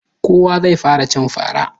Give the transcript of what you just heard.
Kowa zai fara cin fara.